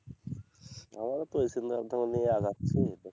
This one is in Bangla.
আমারও তো ওই চিন্তা ধরনের আগাচ্ছি এতে,